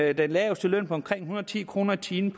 og den laveste løn på omkring en hundrede og ti kroner i timen